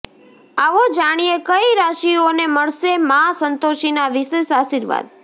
આવો જાણીએ કઈ રાશીઓને મળશે માં સંતોષીના વિશેષ આશીર્વાદ